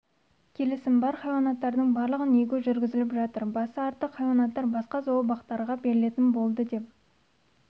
келісім бар хайуанаттардың барлығын егу жүргізіліп жатыр басы артық хайуанаттар басқа зообақтарға берілетін болды деп